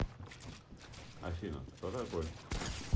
афина кто такой